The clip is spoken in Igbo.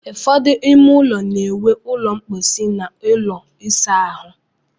Ụfọdụ ime ụlọ na-enwe ụlọ mposi na ụlọ ịsa ahụ.